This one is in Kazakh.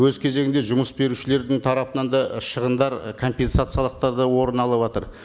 өз кезегінде жұмыс берушілердің тарапынан да шығындар і компенсациялықтар да орын алыватыр